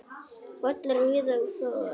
Pollar víða og for.